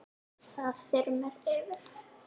Það þyrmir yfir.